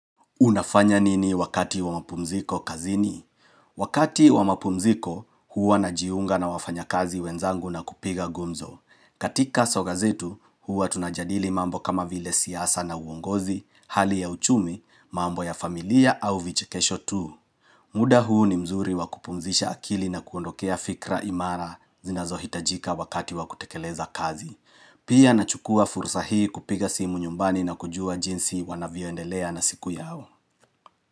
Unafanya nini wakati wa mapumziko kazini? Wakati wa mapumziko, huwa najiunga na wafanyakazi wenzangu na kupiga gumzo. Katika soga zetu, huwa tunajadili mambo kama vile siasa na uongozi, hali ya uchumi, mambo ya familia au vichekesho tu. Muda huu ni mzuri wa kupumzisha akili na kuondokea fikra imara zinazohitajika wakati wa kutekeleza kazi. Pia nachukua fursa hii kupiga simu nyumbani na kujua jinsi wanavyoendelea na siku yao.